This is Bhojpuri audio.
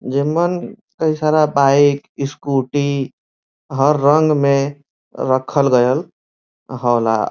जे मन कई सारा बाइक स्कूटी हर रंग मे रखल गयल होला।